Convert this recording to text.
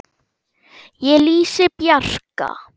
Ég lýsi Bjarka